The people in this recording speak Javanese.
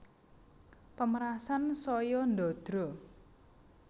Pemerasan saya ndadra